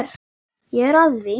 Ég er að því.